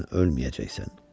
Sən ölməyəcəksən.